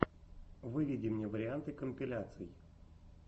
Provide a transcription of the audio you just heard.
выведи мне варианты компиляций